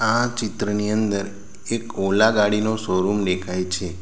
આ ચિત્રની અંદર એક ઓલા ગાડીનો શોરૂમ દેખાય છે.